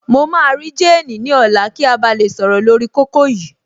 Mo máa rí jéènì ní ọ̀la kí a ba lè sọ̀rọ̀ lórí kókó yìí